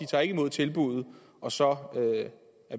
tager ikke imod tilbuddet og så er